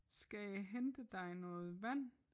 Skal jeg hente dig noget vand?